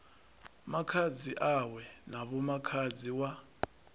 khaladzi awe na vhomakhadzi wa